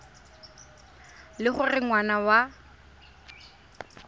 e le gore ngwana wa